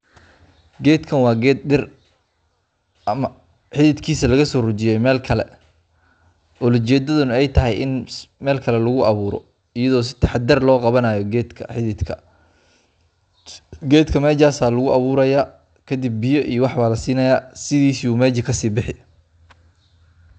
getkan waa geet dhir ama xidikiisa lagaso bujiye meel kale olajeedada nah ay tahay in meelkale lagu abuuro geetka meshaan ayaa laguu abuuraya kadib biya iyo wxbaa lasinayaa sidisi ayuu ,mesha kasii bixi